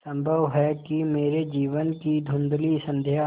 संभव है कि मेरे जीवन की धँुधली संध्या